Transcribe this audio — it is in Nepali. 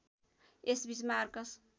यस बीच मार्कस